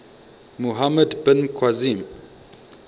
muhammad bin qasim